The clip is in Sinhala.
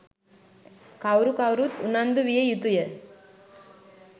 කවුරු කවුරුත් උනන්දු විය යුතුය.